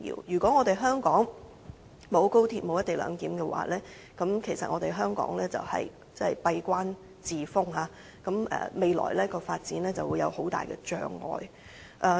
如果香港沒有高鐵和"一地兩檢"，香港將會閉關自封，未來的發展就會有很大的障礙。